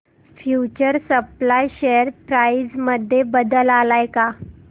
future supply share price मध्ये बदल आलाय का